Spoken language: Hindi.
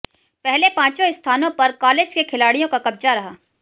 पहले पांचों स्थानों पर कालेज के खिलाडिय़ों का कब्जा रहा